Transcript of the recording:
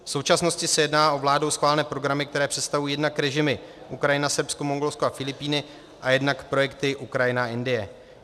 V současnosti se jedná o vládou schválené programy, které představují jednak režimy Ukrajina, Srbsko, Mongolsko a Filipíny, a jednak projekty Ukrajina, Indie.